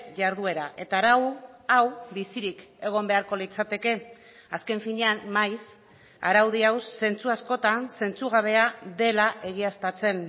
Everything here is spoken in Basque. jarduera eta arau hau bizirik egon beharko litzateke azken finean maiz araudi hau zentzu askotan zentzugabea dela egiaztatzen